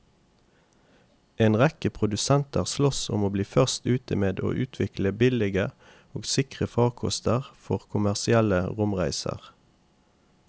En rekke produsenter sloss om å bli først ute med å utvikle billige og sikre farkoster for kommersielle romreiser.